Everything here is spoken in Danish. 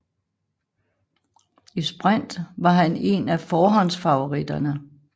I sprint var han en af forhåndsfavoritterne